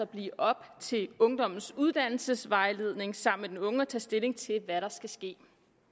blive op til ungdommens uddannelsesvejledning sammen med den unge at tage stilling til hvad der skal ske